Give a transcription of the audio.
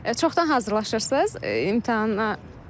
Çoxdan hazırlaşırsınız imtahana?